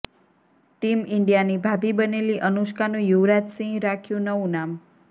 team ઇન્ડિયાની ભાભી બનેલી અનુષ્કાનું યુવરાજ સિંહ રાખ્યુ નવું નામ